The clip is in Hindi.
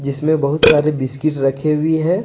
इसमें बहुत सारे बिस्किट रखे हुई है।